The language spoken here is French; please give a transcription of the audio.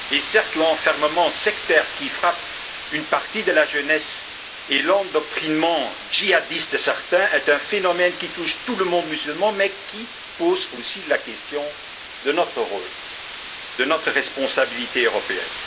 Certes, l'enfermement sectaire qui frappe une partie de la jeunesse et l'endoctrinement djihadiste de certains est un phénomène qui touche tout le monde musulman, mais il pose aussi la question de notre rôle et de notre responsabilité européenne.